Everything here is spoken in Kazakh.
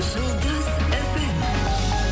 жұлдыз эф эм